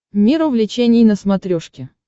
мир увлечений на смотрешке